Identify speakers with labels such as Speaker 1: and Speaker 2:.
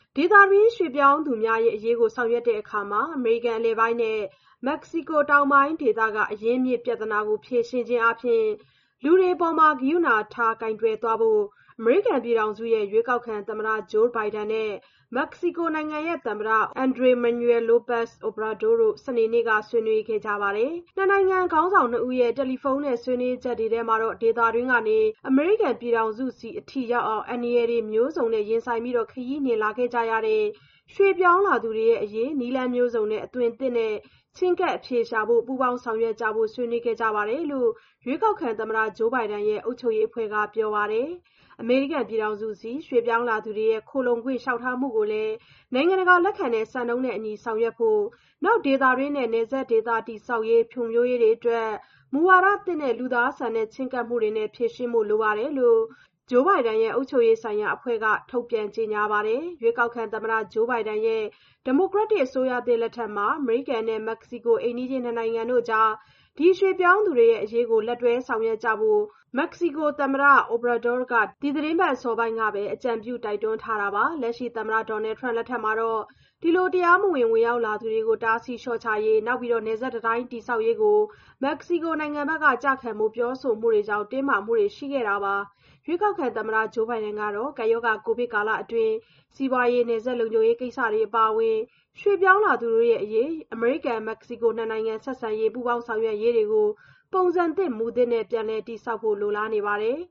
Speaker 1: ဒေသတွင်း ရွှေ့ပြောင်းသူများအရေးကို ဆောင်ရွက်တဲ့အခါမှာ အမေရိကန် အလယ်ပိုင်းနဲ့ မက္ကဆီကို တောင်ပိုင်းဒေသတွေရဲ့ အရင်းအမြစ်ပြဿနာကို ဖြေရှင်းခြင်းအားဖြင့် လူတွေအပေါ် ကရုဏာထား ကိုင်တွယ်သွားဖို့ အမေရိကန်ပြည်ထောင်စုရဲ့ ရွေးကောက်ခံသမ္မတ Joe Biden နဲ့ မက္ကဆီကိုနိုင်ငံသမ္မတ Andres Manuel Lopez Obrador တို့ စနေနေ့က ဆွေးနွေးခဲ့ကြပါတယ်။ နှစ်နိုင်ငံခေါင်းဆောင်နှစ်ဦးရဲ့ တယ်လီဖုန်းနဲ့ ဆွေးနွေးချက်တွေထဲ ဒေသတွင်းကနေ အမေရိကန်ပြည်ထောင်စုဆီအထိ ရောက်အောင် အန္တရာယ်တွေမျိုးစုံနဲ့ ရင်ဆိုင်ပြီး ခရီးနှင်လာခဲ့ကြရတဲ့ ရွှေ့ပြောင်းလာသူတွေအရေး နည်းလမ်းမျိုးစုံနဲ့ အသွင်သစ်နဲ့ ချဉ်းကပ်အဖြေရှာဖို့ ပူးပေါင်းဆောင်ရွက်ကြဖို့ ဆွေးနွေးခဲ့ကြတယ်လို့ ရွေးကောက်ခံသမ္မတ Joe Biden ရဲ့ အုပ်ချုပ်ရေးအဖွဲ့က ပြောပါတယ်။ အမေရိကန်ပြည်ထောင်စုဆီ ရွှေ့ပြောင်းလာသူတွေရဲ့ ခိုလှုံခွင့် လျှောက်ထားမှုတွေကိုလည်း နိုင်ငံတကာလက်ခံတဲ့ စံနှုန်းနဲ့အညီ ဆောင်ရွက်ဖို့နဲ့ ဒေသတွင်းနဲ့ နယ်စပ်ဒေသ တည်ဆောက်ရေးတွေ ဖွံ့ဖြိုးရေးတွေအတွက် မူဝါဒသစ်နဲ့ လူသားဆန်တဲ့ ချဉ်းကပ်မှုတွေနဲ့ ဖြေရှင်းဖို့လိုတယ်လို့ Joe Biden ရဲ့ အုပ်ချုပ်ရေးဆိုင်ရာအဖွဲ့က ထုတ်ပြန်ကြေညာပါတယ်။ ရွေးကောက်ခံသမ္မတ Joe Biden ရဲ့ ဒီမိုကရက်တစ် အစိုးရသစ်လက်ထက် အမေရိကန်နဲ့ မက္ကဆီကို အိမ်နီးချင်းနှစ်နိုင်ငံကြား ဒီရွှေ့ပြောင်းသူတို့ရဲ့အရေး လက်တွဲဆောင်ရွက်ကြဖို့ မက္ကဆီကိုနိုင်ငံသမ္မတ Andres Manuel Lopez Obrador က ဒီသီတင်းပတ် အစောပိုင်းကပဲ အကြံပြု တိုက်တွန်းထားပါတယ်။ လက်ရှိသမ္မတ Donald Trump လက်ထက်မှာတော့ ဒီလို တရားမဝင် ဝင်ရောက်လာသူတွေကို တားဆီးလျှော့ချနိုင်ရေး နောက် နယ်စပ်တံတိုင်း တည်ဆောက်ရေးကို မက္ကဆီကိုဘက်က ကျခံဖို့ ပြောဆိုမှုတွေကြောင့် တင်းမာမှုတွေ ရှိခဲ့တာပါ။ ရွေးကောက်ခံသမ္မတ Joe Biden ကတော့ ကပ်ရောဂါ ကိုဗစ်ကာလတွင်း စီးပွားရေးတွေ၊ နယ်စပ်လုံခြုံရေးကိစ္စ အပါအဝင် ရွှေ့ပြောင်းလာသူတွေရဲ့အရေး အမေရိကန်-မက္ကဆီကို နှစ်နိုင်ငံ ဆက်ဆံရေးနဲ့ ပူးပေါင်းဆောင်ရွက်ရေးတွေကို ပုံစံသစ် မူသစ်တွေနဲ့ ပြန်လည်တည်ဆောက်ဖို့ လိုလားနေပါတယ်